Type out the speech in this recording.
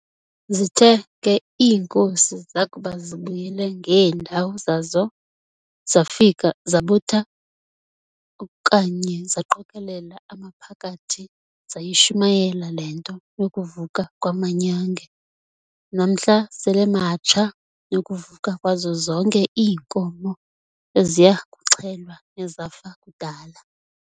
Zithe ke iinkosi zakuba zibuyele ngeendawo zazo, zafika zabutha okanye zaqokolela amaphakathi zayishumayela le nto yokuvuka "kwamanyange", namhla sel'ematsha, nokuvuka kwazo zonke iinkomo eziya kuxhelwa nezafa kudala.